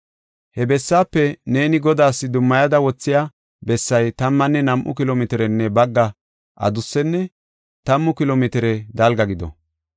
“He bessaafe neeni Godaas dummayada wothiya bessay tammanne nam7u kilo mitirenne bagga adussenne tammu kilo mitire dalga gido.